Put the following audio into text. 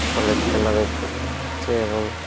ঘরের চলা দেখতে পাওয়া যাচ্ছে এবং--